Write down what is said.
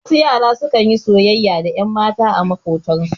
Wasu yara su kan yi soyayya da ƴanmata a maƙotan su.